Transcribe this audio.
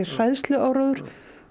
hræðsluáróður